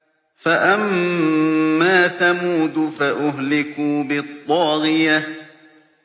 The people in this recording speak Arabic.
فَأَمَّا ثَمُودُ فَأُهْلِكُوا بِالطَّاغِيَةِ